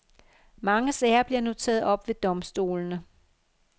Mange sager bliver nu taget op ved domstolene.